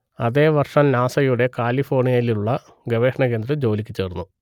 അതേ വർഷം നാസയുടെ കാലിഫോർണിയയിലുള്ള ഗവേഷണ കേന്ദ്രത്തിൽ ജോലിക്കു ചേർന്നു